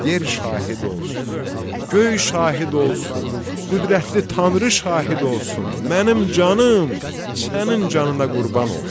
Yer şahid olsun, göy şahid olsun, qüdrətli tanrı şahid olsun, mənim canım sənin canına qurban olsun.